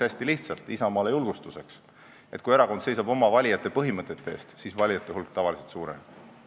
Mina ütlen Isamaale julgustuseks hästi lihtsalt, et kui erakond seisab oma valijate põhimõtete eest, siis valijate hulk tavaliselt suureneb.